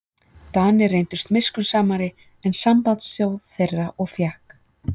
Danir reyndust miskunnsamari en sambandsþjóð þeirra og fékk